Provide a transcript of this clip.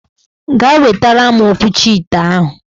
Gaa wetara m okwuchi ite a!